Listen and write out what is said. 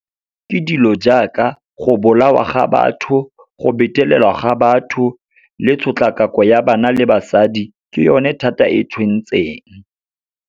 Ke dilo jaaka, go bolawa ga batho, go betelelwa ga batho le tshotlakako ya bana le basadi, ke yone thata e tshwentseng.